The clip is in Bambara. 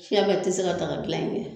kia bɛ ti se ka daga gilan in kɛ